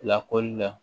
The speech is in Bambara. Lakɔli la